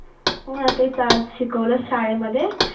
हा तेच आज शिकवलं शाळेमध्ये